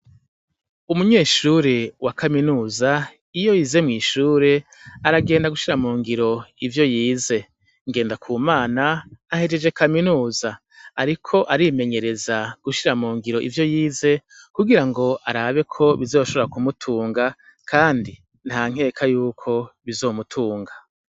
Umunyeshure wa kaminuza iyo yize mw'ishure aragenda gushira mu ngiro ivyo yize, Ngendakumana ahejeje kaminuza, ariko arimenyereza gushira mungiro ivyo yize kugirango arabeko bizoshobora kumutunga kandi ntanke yuko bizomutunga.